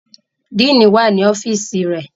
Dean wà ní ọ́fíìsì rẹ̀.